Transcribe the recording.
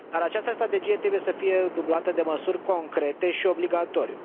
Dar această strategie trebuie să fie dublată de măsuri concrete și obligatorii.